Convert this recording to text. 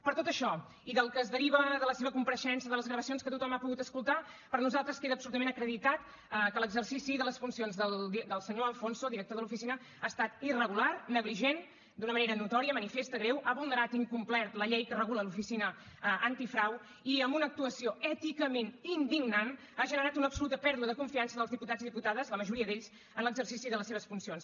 per tot això i del que es deriva de la seva compareixença de les gravacions que tothom ha pogut escoltar per nosaltres queda absolutament acreditat que l’exercici de les funcions del senyor de alfonso director de l’oficina ha estat irregular negligent d’una manera notòria manifesta greu ha vulnerat i incomplert la llei que regula l’oficina antifrau i amb una actuació èticament indignantconfiança dels diputats i diputades la majoria d’ells en l’exercici de les seves funcions